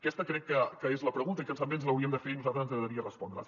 aquesta crec que és la pregunta i que també ens l’hauríem de fer i a nosaltres ens agradaria respondrela